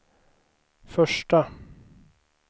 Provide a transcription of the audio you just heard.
första